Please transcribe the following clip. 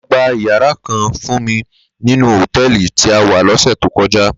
Ló gbá iyàrá kán fún mi ninú hótèlí ti á wá lòsè tókòjá